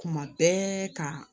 Kuma bɛɛ ka